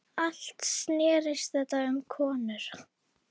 Allt snerist þetta um konur.